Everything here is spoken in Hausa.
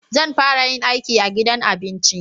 Zan fara yin aiki a gidan abinci